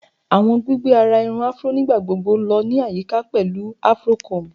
Awọn gbigbe ara irun Afro nigbagbogbo lọ ni ayika pẹlu afro comb